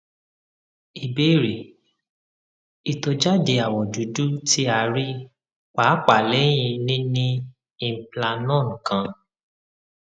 ìbéèrè itọjade awọ dudu ti a rii paapaa lẹhin nini implanon kan